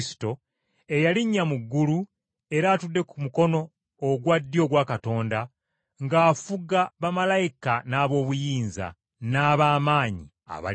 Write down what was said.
eyalinnya mu ggulu era atudde ku mukono ogwa ddyo ogwa Katonda, ng’afuga bamalayika n’aboobuyinza, n’abaamaanyi ab’omu ggulu.